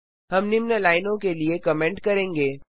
हम निम्न लाइनों के लिए कमेंट करेंगे